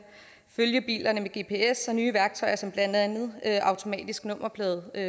følge bilerne med gps og med nye værktøjer som blandt andet automatisk nummerpladescanning